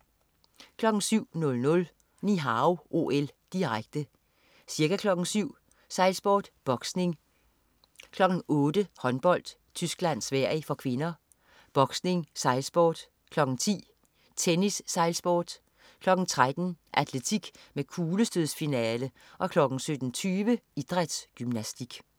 07.00 Ni Hao OL, direkte. Ca. kl. 07.00: Sejlsport, boksning, kl. 08.00: Håndbold: Tyskland-Sverige (k), boksning, sejlsport, kl. 10.00: Tennis, sejlsport, kl. 13.00: Atletik med kuglestødsfinale og kl. 17.20: Idrætsgymnastik